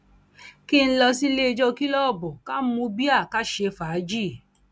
kí n lọ sílé ìjọ kìlógbòòbù ká mú bíà ká ṣe fàájì